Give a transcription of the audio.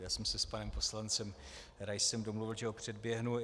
Já jsem si s panem poslancem Raisem domluvil, že ho předběhnu.